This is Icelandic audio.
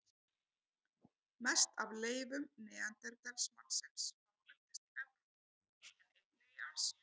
Mest af leifum neanderdalsmannsins hafa fundist í Evrópu en einnig í Asíu.